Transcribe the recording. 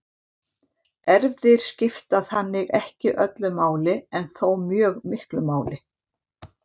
Erfðir skipta þannig ekki öllu máli en þó mjög miklu máli.